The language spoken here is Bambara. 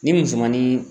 Ni musomanin